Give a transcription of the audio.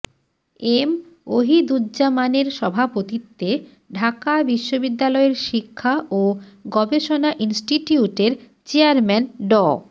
M অহিদুজ্জামানের সভাপতিত্বে ঢাকা বিশ্ববিদ্যালয়ের শিক্ষা ও গবেষণা ইনস্টিটিউটের চেয়ারম্যান ড